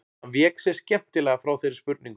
Hann vék sér skemmtilega frá þeirri spurningu.